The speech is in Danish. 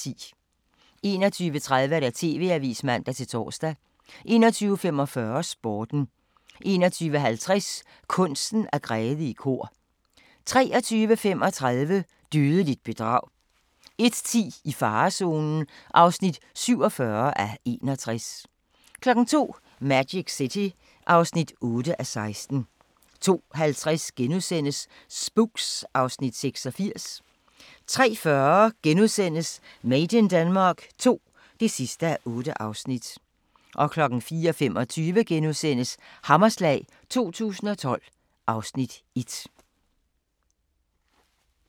21:30: TV-avisen (man-tor) 21:45: Sporten 21:50: Kunsten at græde i kor 23:35: Dødeligt bedrag 01:10: I farezonen (47:61) 02:00: Magic City (8:16) 02:50: Spooks (Afs. 86)* 03:40: Made in Denmark II (8:8)* 04:25: Hammerslag 2012 (Afs. 1)*